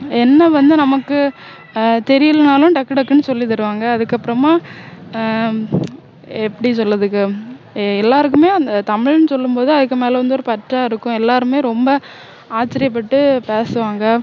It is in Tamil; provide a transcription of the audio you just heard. என்ன வந்து நமக்கு ஆஹ் தெரியலன்னாலும் டக்கு டக்குன்னு சொல்லி தருவாங்க அதுக்கு அப்பறமா ஆஹ் எப்படி சொல்லதுக்கு எல்லாருக்குமே தமிழ்னு சொல்லும் போது அதுக்கு மேல வந்து ஒரு பற்றா இருக்கும் எல்லாருமே ரொம்ப ஆச்சரியப்பட்டு பேசுவாங்க